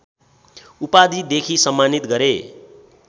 उपाधिदेखि सम्मानित गरे